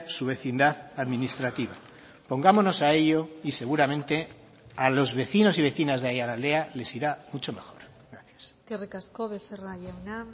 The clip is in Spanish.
su vecindad administrativa pongámonos a ello y seguramente a los vecinos y vecinas de aiaraldea les irá mucho mejor gracias eskerrik asko becerra jauna